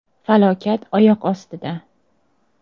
Falokat oyoq ostida.